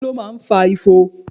Kí ló máa ń fa ifo?